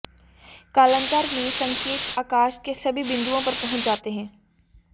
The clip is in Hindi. कालांतर में संकेत आकाश के सभी बिंदुओं पर पहुँच जाते हैं